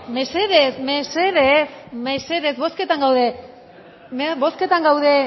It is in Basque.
mesedez mesedez mesedez bozketan gaude bozketan gaude